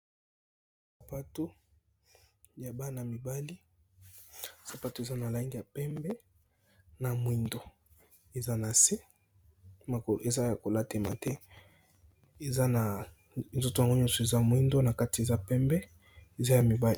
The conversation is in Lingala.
sapato ya bana mibali sapato eza na lange ya pembe na moindo eza na se mokolo eza ya kolatema te eza na nzoto yango nyonso eza moindo na kati eza pembe eza ya mibali